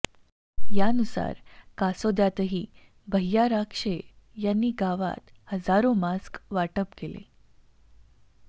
यानुसार कासोद्यात ही भैय्या राक्षे यांनी गावात हजारो मास्क वाटप केले